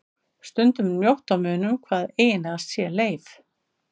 Stundum er mjótt á munum hvað eiginlega sé leif.